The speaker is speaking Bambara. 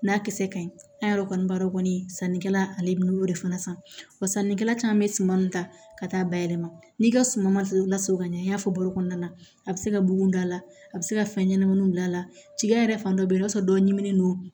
N'a kisɛ ka ɲi a yɛrɛ kɔni b'a dɔn kɔni sannikɛla ale y'o de fana san wa sannikɛla caman bɛ suman min ta ka taa ba yɛlɛma n'i ka suman ma lasegin ka ɲɛ an y'a fɔ balo kɔnɔna na a bɛ se ka bugun da la a bɛ se ka fɛn ɲɛnamaninw don a la cikɛ yɛrɛ fan dɔ bɛ yen i b'a sɔrɔ dɔ ɲiminen don